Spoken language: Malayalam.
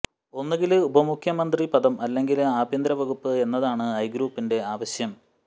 ഒന്നുകില് ഉപമുഖ്യമന്ത്രി പദം അല്ലെങ്കില് ആഭ്യന്തര വകുപ്പ് എന്നതാണ് ഐ ഗ്രൂപ്പിന്റെ ആവശ്യം